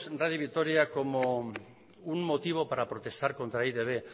radio vitoria como un motivo para protestar contra e i te be